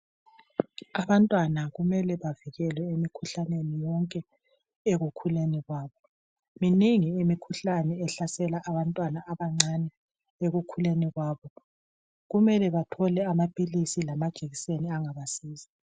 Abantwana kumele bavikelwe emikhuhlaneni yonke ekukhuleni kwabo. Minengi imikhuhlane ehlasela abantwana abancane ekukhuleni kwabo, kumele bethole amaphilisi lama jekiseni angabasiza.